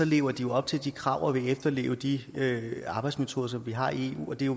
lever de op til de krav og vil efterleve de arbejdsmetoder som vi har i eu og det er